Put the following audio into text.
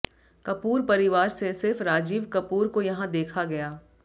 कपूर परिवार से सिर्फ राजीव कपूर को यहां देखा गया